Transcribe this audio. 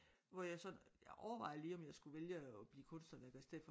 Hvor jeg sådan jeg overvejede lige om jeg skulle vælge at blive kunsthåndværker i stedet for